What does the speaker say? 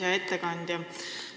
Hea ettekandja!